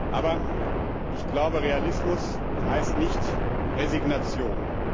Aber, ich glaube, Realismus heißt nicht Resignation.